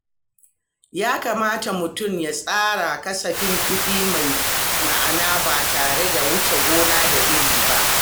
Ya kamata mutum ya tsara kasafin kuɗi mai ma'ana ba tare da wuce gona da iri ba.